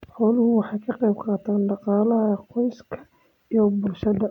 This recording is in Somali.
Xooluhu waxay ka qayb qaataan dhaqaalaha qoyska iyo bulshada.